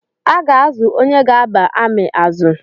A ga-azụ̣ onye ga-aba ami azụ